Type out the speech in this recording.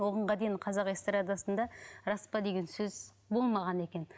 оған дейін қазақ эстрадасында рас па деген сөз болмаған екен